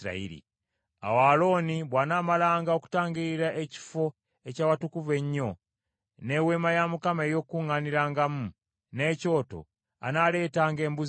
“Awo Alooni bw’anaamalanga okutangiririra Ekifo eky’Awatukuvu Ennyo, n’Eweema ey’Okukuŋŋaanirangamu, n’ekyoto, anaaleetanga embuzi ennamu.